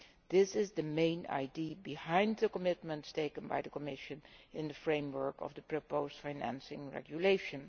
This is the main idea behind the commitments undertaken by the Commission in the framework of the proposed financing regulation.